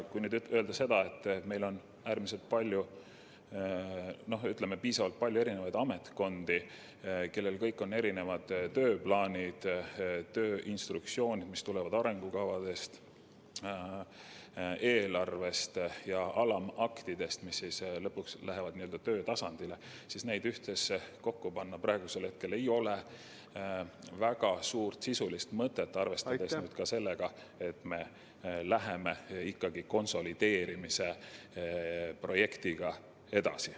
Kui mõelda sellele, et meil on palju ametkondi, kellel kõigil on tööplaanid, tööinstruktsioonid, mis tulenevad arengukavast, eelarvest ja alamaktidest, mis lõpuks lähevad töötasandile, siis nende ühtsesse dokumenti kokkupanemisel ei ole praegu väga suurt sisulist mõtet, arvestades ka seda, et me läheme ikkagi konsolideerimise projektiga edasi.